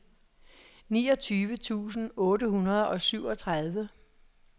niogtyve tusind otte hundrede og syvogtredive